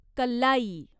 कल्लाई